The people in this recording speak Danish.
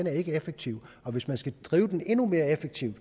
er effektiv hvis man skal drive dem endnu mere effektivt